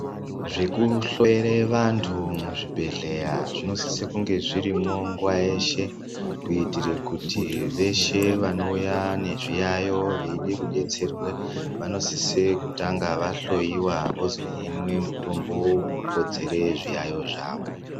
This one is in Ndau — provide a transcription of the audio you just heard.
Zvekuhloyere vantu muzvibhedhleya zvinosise kunge zvirimwo nguva yeshe, kuitire kuti veshe vanouya nezviyayo veide kudetserwe vanosisa kutanga vahloyiwa vozohinwe mitombo unokodzere zviyaiyo zvavo.